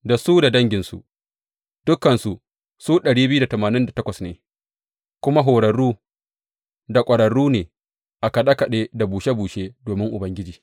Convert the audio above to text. Da su da danginsu, dukansu su ne kuma horarru da ƙwararru ne a kaɗe kaɗe da bushe bushe domin Ubangiji.